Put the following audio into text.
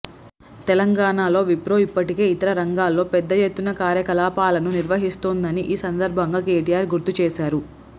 తెలంగాణలో విప్రో ఇప్పటికే ఇతర రంగాల్లో పెద్దఎత్తున కార్యకలాపాలను నిర్వహిస్తోందని ఈ సందర్భంగా కెటిఆర్ గుర్తుచేశారు